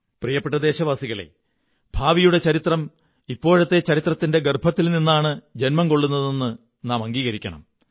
പ്രിയപ്പെട്ട ദേശവാസികളേ ഭാവിയുടെ ചരിത്രം ഇപ്പോഴത്തെ ചരിത്രത്തിന്റെ ഗര്ഭയത്തില്നിളന്നാണ് ജന്മം കൊള്ളുന്നതെന്ന് നാം അംഗീകരിക്കണം